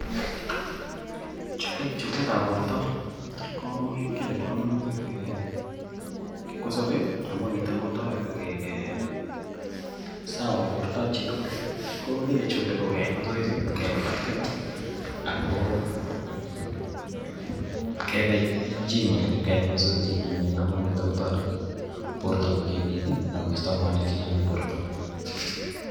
Chuleet ap porto ko ki nepo kamanut eng' kipkosope, amu nitok kotareti koek sawa portobap chi tugul. Ko ki ne chule ko keai masoesi, kelapat kila, ako kepa gym anan ip keyai masoesi che kimen amu nitok kotareti porto kokimit i ako ista mwainiik che chang' eng' porto.